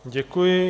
Děkuji.